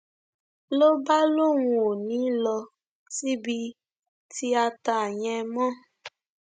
ló bá lóun ò ní í lọ síbi tíátá yẹn mọ